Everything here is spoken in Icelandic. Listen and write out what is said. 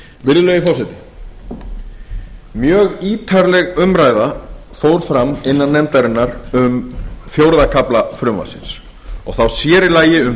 virðulegi forseti mjög ítarleg umræða fór fram innan nefndarinnar um fjórða kafla frumvarpsins og þá sér í lagi um